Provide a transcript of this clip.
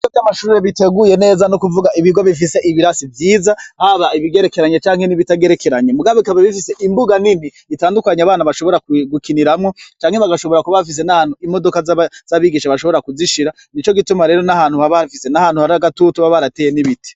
Ibigo vy'amashure biteguye neza nukuvuga ibigo bifise ibirasi vyiza haba ibigerekeranye canke nibitagerekeranye mugabo bikaba bifise imbuga nini itadukanya abana bashobora gukiniramwo canke bagashobora kuba bafise n'ahantu imodoka z'abagisha bashobora kuzishira, nico gituma rero nahantu haba hafise nahantu hagatutu baba barateye ibiti.